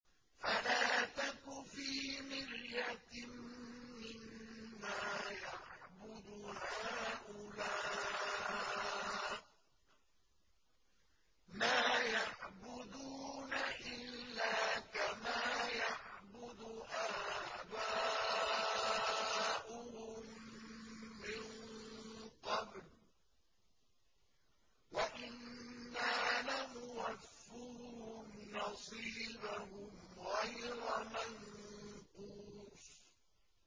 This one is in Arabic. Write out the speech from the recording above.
فَلَا تَكُ فِي مِرْيَةٍ مِّمَّا يَعْبُدُ هَٰؤُلَاءِ ۚ مَا يَعْبُدُونَ إِلَّا كَمَا يَعْبُدُ آبَاؤُهُم مِّن قَبْلُ ۚ وَإِنَّا لَمُوَفُّوهُمْ نَصِيبَهُمْ غَيْرَ مَنقُوصٍ